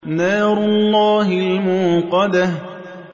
نَارُ اللَّهِ الْمُوقَدَةُ